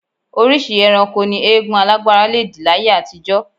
Oríṣìí ẹranko ni eégún alágbára le dì láyé àtijọ́